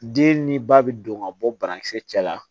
Den ni ba bi don ka bɔ banakisɛ cɛla la